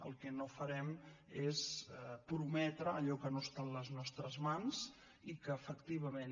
el que no farem és prometre allò que no està en les nostres mans i que efectivament